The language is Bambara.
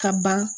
Ka ban